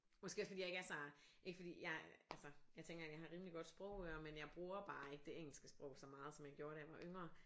Måske også fordi jeg ikke er så ikke fordi jeg altså jeg tænker jeg har rimelig godt sprogøre men jeg bruger bare ikke det engeske sprog så meget som da jeg var yngre